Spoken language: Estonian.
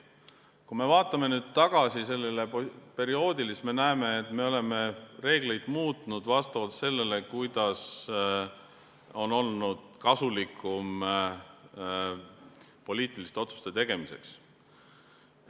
Kui me vaatame sellele perioodile tagasi, siis me näeme, et me oleme reegleid muutnud vastavalt sellele, kuidas on olnud kasulikum poliitiliste otsuste tegemiseks.